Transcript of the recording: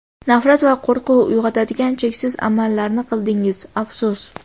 nafrat va qo‘rquv uyg‘otadigan cheksiz amallarni qildingiz, afsus.